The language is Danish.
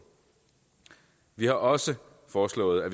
vi har også foreslået at